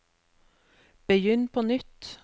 begynn på nytt